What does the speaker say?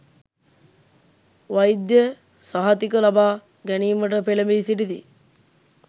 වෛද්‍ය සහතික ලබා ගැනීමට පෙළැඹී සිටිති.